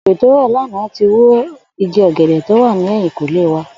Òjò tó rò̩ lánàá tí wo igi ò̩gè̩dè̩ tó wa ní è̩yìnkùnlé wa